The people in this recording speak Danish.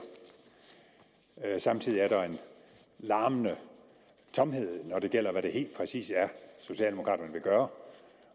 samtidig er der en larmende tomhed når det gælder hvad det helt præcis er socialdemokraterne vil gøre